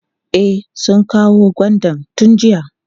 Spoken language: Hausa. E, sun kawo gwandan tun jiya.